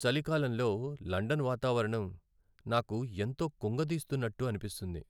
చలికాలంలో లండన్ వాతావరణం నాకు ఎంతో కుంగదీస్తున్నట్టు అనిపిస్తుంది.